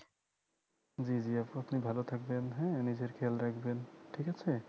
জি জি আপু আপনি ভালো থাকবেন হ্যাঁ নিজের খেয়াল রাখবেন ঠিক আছে